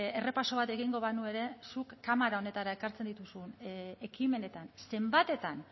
errepaso bat egingo banu ere zuk kamara honetara ekartzen dituzu ekimenetan zenbatetan